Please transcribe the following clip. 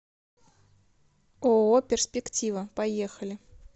ооо перспектива поехали